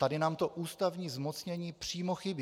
Tady nám to ústavní zmocnění přímo chybí.